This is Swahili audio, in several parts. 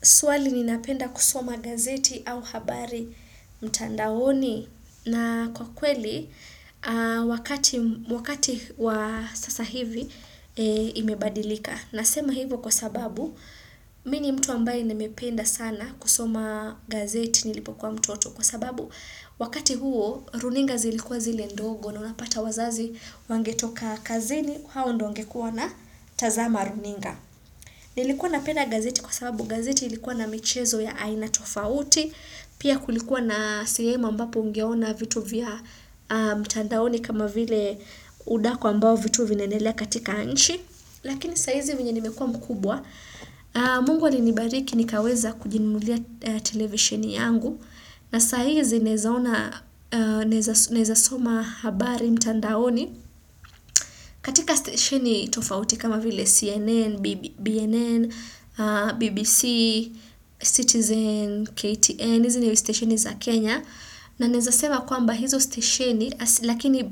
Swali ninapenda kusoma gazeti au habari mtandaoni na kwa kweli wakati wakati wa sasa hivi imebadilika. Nasema hivo kwa sababu mi ni mtu ambaye nimependa sana kusoma gazeti nilipo kwa mtoto. Kwa sababu wakati huo runinga zilikuwa zile ndogo na unapata wazazi wangetoka kazini hao ndo wangekuwa na tazama runinga. Nilikuwa napenda gazeti kwa sababu gazeti ilikuwa na michezo ya aina tofauti, pia kulikuwa na sehemu ambapo ungeona vitu vya mtandaoni kama vile udaku ambao vitu vinaendelea katika nchi. Lakini saizi venye nimekua mkubwa, mungu alinibariki nikaweza kujinunulia televisheni yangu na saizi naezaona, naeza soma habari mtandaoni. Katika stesheni tofauti kama vile CNN, BNN, BBC, Citizen, KTN, hizi ni stesheni za Kenya, na naeza sema kwamba hizo stesheni, lakini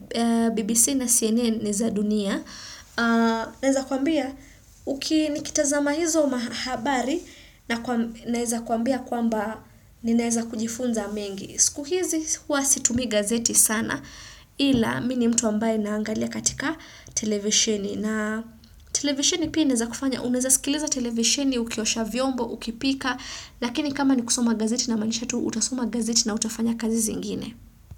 BBC na CNN ni za dunia, na neza kuambia, uki nikitazama hizo ma habari, na naeza kuambia kwamba ni naeza kujifunza mengi. Siku hizi huwa situmii gazeti sana ila mi ni mtu ambaye naangalia katika televisheni na televisheni pia inaeza kufanya uneza sikiliza televisheni ukiosha vyombo, ukipika lakini kama ni kusoma gazeti na inamaanisha tu utasoma gazeti na utafanya kazi zingine.